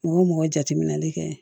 Mɔgɔ jateminɛli kɛ